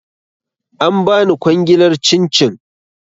An bani kwangilar cin cin